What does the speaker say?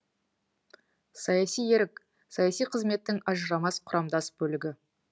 саяси ерік саяси қызметтің ажырамас құрамдас бөлігі